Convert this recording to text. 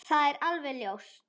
Það er alveg ljóst.